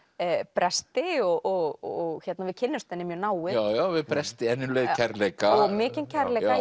bresti og við kynnumst henni mjög náið já bresti en um leið kærleika mikinn kærleika